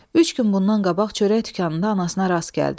Üç gün bundan qabaq çörək dükanında anasına rast gəldim.